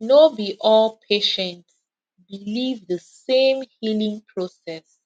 no be all patients believe the same healing process